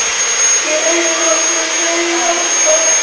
Ég eyði nokkrum fleiri andar